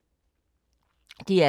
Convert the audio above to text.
DR K